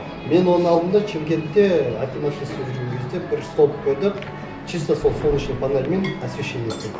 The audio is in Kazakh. мен оны алдым да шымкентте акиматта істеп жүрген кезде бір столб қойдық чисто сол солнечный панельмен освещение істеді